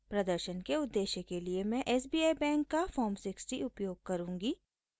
प्रदर्शन के उद्देश्य के लिए मैं sbi बैंक का फॉर्म 60 उपयोग करुँगी